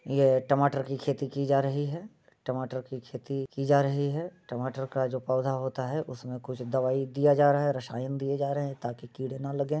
यह टमाटर की खेती की जा रही है टमाटर की खेती की जा रही है टमाटर का जो पौधा होता है उसमें कुछ दवाई दिया जा रहा है रसायन दिए जा रहे है ताकि कीड़े ना लगे।